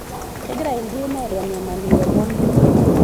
Kegira ildien aitanyamal ilomon.